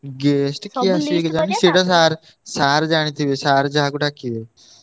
Guest କିଏ sir ଜାଣିଥିବେ sir ଯାହାକୁ ଡାକିବେ।